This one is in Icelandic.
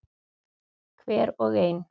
Hver og ein.